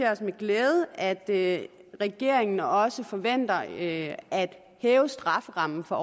os med glæde at regeringen også forventer at hæve strafferammen for